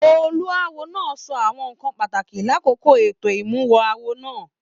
Olúáwo náà sọ àwọn nnkan pàtàkì l'akoko ètò imuwọ̀ awo náà.